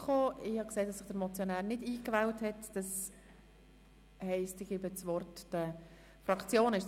Ich habe gesehen, dass sich der Motionär nicht in die Rednerliste eingewählt hat, und gebe deshalb das Wort den Fraktionen.